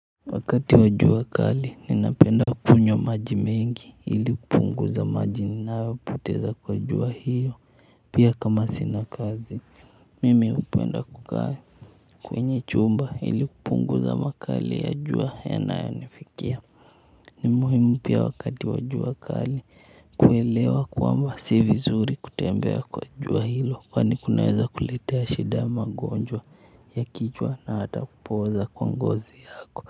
Wakati wa jua kali ninapenda kukunywa maji mengi ili kupunguza maji ninayopoteza kwa jua hiyo pia kama sina kazi. Mimi hupenda kukaa kwenye chumba ili kupunguza makali ya jua yanayonifikia. Ni muhimu pia wakati wa jua kali kuelewa kwamba ni vizuri kutembea kwa jua hilo kwani kunaeza kuletea shida ya magonjwa ya kichwa hata kupooza kwa ngozi yako.